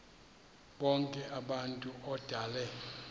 bonk abantu odale